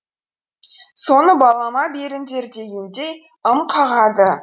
соны балама беріңдер дегендей ым қағады